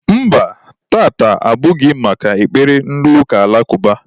Mba, taata abụghị maka ekpere ndị ụka alakụba.